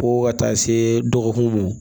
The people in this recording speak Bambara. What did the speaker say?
Fo ka taa se dɔgɔkun m